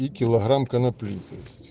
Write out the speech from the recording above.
и килограмм конопли то есть